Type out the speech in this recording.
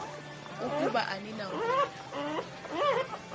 ukuba anina kuya